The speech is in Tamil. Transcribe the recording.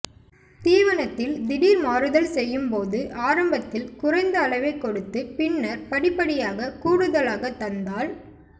தீவனத்தில் திடீர் மாறுதல் செய்யும் போது ஆரம்பத்தில் குறைந்த அளவே கொடுத்து பின்னர் படிப்படியாக கூடுதலாக தந்தால்